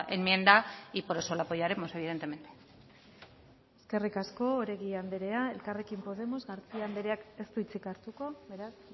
enmienda y por eso la apoyaremos evidentemente eskerrik asko oregi andrea elkarrekin podemos garcía andreak ez du hitzik hartuko beraz